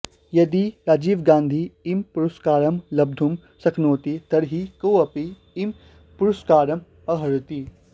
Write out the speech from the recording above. यदि राजीवगांधी इमं पुरस्कारं लब्धुं शक्नोति तर्हि कोऽपि इमं पुरस्कारम् अर्हति